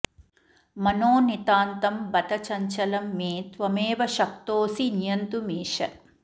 मनो नितान्तं बत चञ्चलं मे त्वमेव शक्तोऽसि नियन्तुमीश